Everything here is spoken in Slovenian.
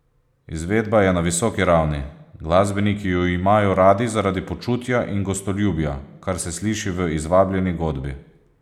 Izvedba je na visoki ravni, glasbeniki ju imajo radi zaradi počutja in gostoljubja, kar se sliši v izvabljeni godbi.